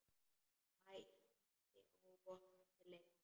Mætti óvopnuð til leiks.